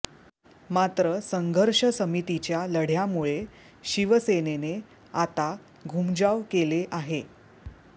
मात्र संघर्ष समितीच्या लढ्यामुळे शिवसेनेने आता घूमजाव केले आहे